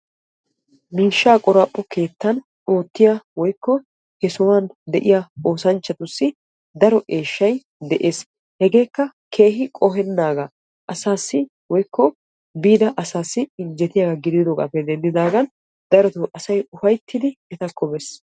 miishsha qoraphpho keettan oottiya woykko he sohuwan de'iyaa oosanchchatussi daro eeshsha de'ees. hegeekka keehi qohenaaga woyko darotoo asassi injjettiyaaga gidoogappe denddidaagan asay ufayttidi etakko bees.